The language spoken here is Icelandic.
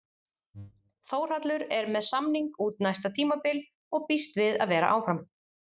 Þórhallur er með samning út næsta tímabil og býst við að vera áfram?